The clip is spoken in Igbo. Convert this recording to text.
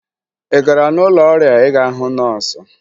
Ị gara n'ụlọ ọrịa ịga hụ nọọsụ?